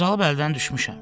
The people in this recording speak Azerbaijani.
Qocalıb əldən düşmüşəm.